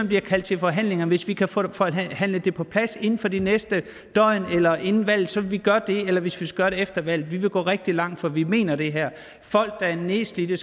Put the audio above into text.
bliver kaldt til forhandlinger og hvis vi kan få det forhandlet på plads inden for det næste døgn eller inden valget vil vi gøre det eller hvis vi skal gøre det efter valget vi vil gå rigtig langt for vi mener det her folk der er nedslidte